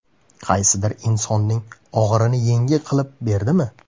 Qaysidir insonning og‘irini yengil qilib berdimi?